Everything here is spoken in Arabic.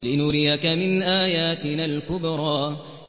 لِنُرِيَكَ مِنْ آيَاتِنَا الْكُبْرَى